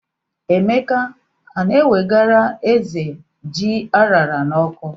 Emeka a na-ewegara ézè ji a ṅara n'ọkụ?